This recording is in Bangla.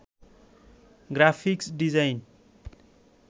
graphics design